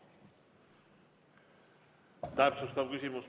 Täpsustav küsimus.